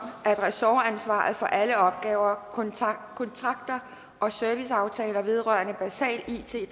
at ressortansvaret for alle opgaver kontrakter og serviceaftaler vedrørende basal it